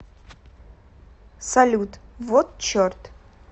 салют вот черт